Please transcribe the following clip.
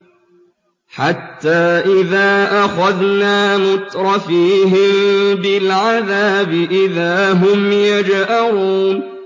حَتَّىٰ إِذَا أَخَذْنَا مُتْرَفِيهِم بِالْعَذَابِ إِذَا هُمْ يَجْأَرُونَ